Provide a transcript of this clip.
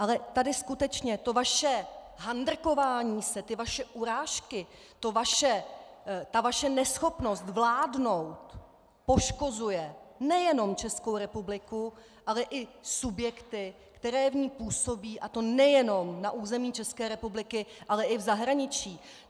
Ale tady skutečně to vaše handrkování se, ty vaše urážky, ta vaše neschopnost vládnout poškozuje nejenom Českou republiku, ale i subjekty, které v ní působí, a to nejenom na území České republiky, ale i v zahraničí.